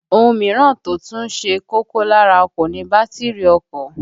Ohun mìíràn tó tún ṣe kókó lára ọkọ̀ ni bátìrì ọkọ̀